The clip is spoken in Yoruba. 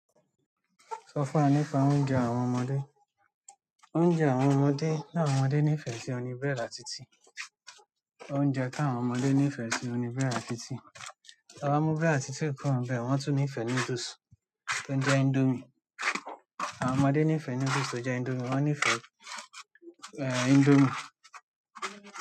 Sọ fún wa nípa oúnjẹ àwọn ọmọdé. Oúnjẹ àwọn ọmọdé, ti àwọn ọmọdé nífẹ̀ẹ́ sí oún ni búrẹ́dì àti tíì. Oúnjẹ ti àwọn ọmọdé nífẹ̀ẹ́ sí oún ni búrẹ́dì àti tíì. Ti ẹ ba mu búrẹ́dì àti tíì kúrò níbẹ̀, wọn tun nifẹ noodles to ń jẹ indomie. Àwọn ọmọdé nífẹẹ noodles to ń jẹ indomie, wọn nífẹẹ Indomie.